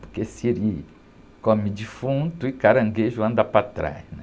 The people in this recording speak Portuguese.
Porque siri come defunto e caranguejo anda para trás, né?